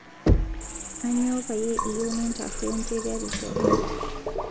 Aanyo payie iyieu nintaruo ncheriatisho aang